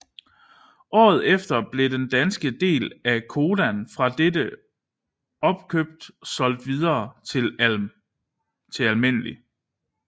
Året efter blev den danske del af Codan fra dette opkøb solgt videre til Alm